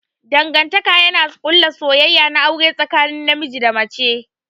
Dangantaka yana ƙulla soyayya na aure tsakanin namiji da mace.